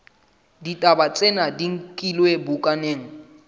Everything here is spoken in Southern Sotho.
ditaba tsena di nkilwe bukaneng